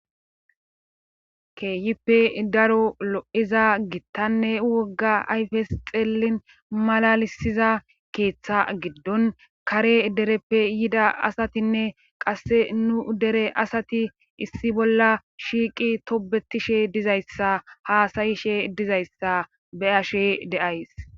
Keehippe daro lo7iza gittanne wogga ayfes xeellin malalisiza keeththa giddon kare dereppe yida asatinne qasse nu dere asati issi bolla shiiqi tobetishe dizayssa haasayishe dizayssa be ashe deays.